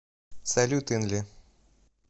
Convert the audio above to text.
салют инли